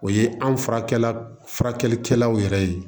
O ye an furakɛla furakɛlikɛlaw yɛrɛ ye